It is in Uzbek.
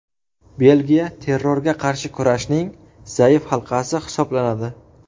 Belgiya terrorga qarshi kurashning zaif halqasi hisoblanadi.